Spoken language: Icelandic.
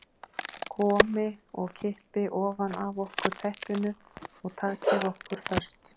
Komi og kippi ofan af okkur teppinu og taki okkur föst.